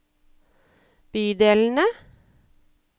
bydelene